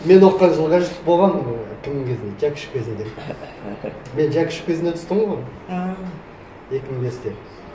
мен оқыған жылы қажет болған ііі кімнің кезінде жәкішев кезінде мен жәкішев кезінде түстім ғой ааа екі мың бесте